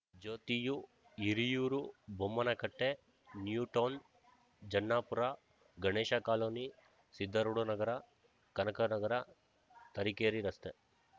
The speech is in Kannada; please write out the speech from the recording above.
ಜ್ಯೋತಿಯು ಹಿರಿಯೂರು ಬೊಮ್ಮನಕಟ್ಟೆ ನ್ಯೂಟೌನ್‌ ಜನ್ನಾಪುರ ಗಣೇಶಕಾಲೋನಿ ಸಿದ್ಧಾರೂಢನಗರ ಕನಕನಗರ ತರೀಕೆರಿ ರಸ್ತೆ